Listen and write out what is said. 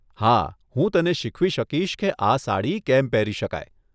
હા, હું તને શીખવી શકીશ કે આ સાડી કેમ પહેરી શકાય.